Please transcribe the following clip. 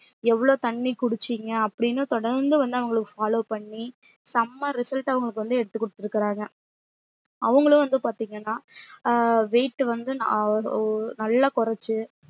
எவ்ளோ தண்ணி குடிச்சிங்க அப்டின்னு தொடர்ந்து வந்து அவங்கள follow பண்ணி செம்ம result அவங்களுக்கு வந்து எடுத்துக்குடுத்துருக்காங்க அவங்களும் வந்து பாத்திங்கன்னா அஹ் weight வந்து ஆஹ் நல்ல கொறச்சு